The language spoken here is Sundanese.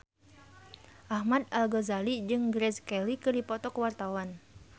Ahmad Al-Ghazali jeung Grace Kelly keur dipoto ku wartawan